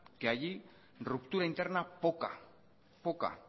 que allí ruptura interna poca poca